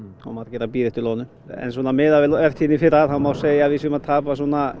og margir að bíða eftir loðnu en svona miðað við vertíðina í fyrra þá má segja að við séum að tapa